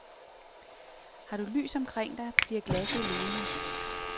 Har du lys omkring dig, bliver glasset levende.